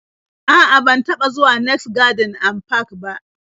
A'a, ban taba zuwa next garden and park ba